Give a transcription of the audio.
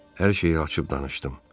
Hər şeyi açıb danışdım.